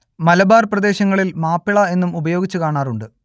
മലബാർ പ്രദേശങ്ങളിൽ മാപ്പിള എന്നും ഉപയോഗിച്ചു കാണാറുണ്ട്